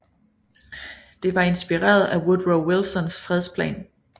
Det var inspireret af Woodrow Wilsons fredsplan